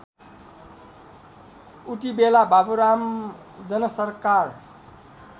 उतिबेला बाबुराम जनसरकार